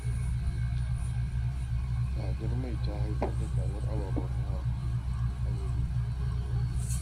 Tsadar mai ta haifar da tsadar ababen hawa a gari